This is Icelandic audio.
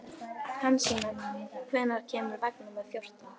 Hansína, hvenær kemur vagn númer fjórtán?